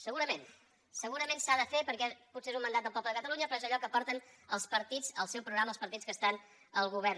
segurament segurament s’ha de fer perquè potser és un mandat del poble de catalunya però és allò que porten els partits al seu programa els partits que estan al govern